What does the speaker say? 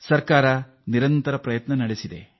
ಸರ್ಕಾರ ಕೂಡ ಈ ನಿಟ್ಟಿನಲ್ಲಿ ಸತತ ಪ್ರಯತ್ನ ಮಾಡುತ್ತಿದೆ